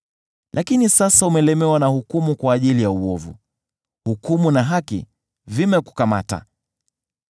Lakini sasa umelemewa na hukumu kwa ajili ya uovu; hukumu na haki vimekukamata.